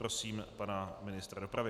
Prosím pana ministra dopravy.